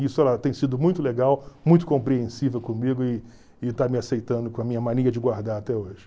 E isso tem sido muito legal, muito compreensível comigo e e está me aceitando com a minha mania de guardar até hoje.